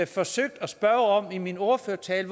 forsøgte at spørge om i min ordførertale